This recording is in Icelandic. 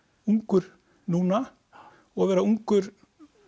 ungur núna og vera ungur